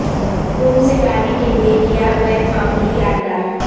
روم سے لانے کے لئے کیا غیر معمولی یادگار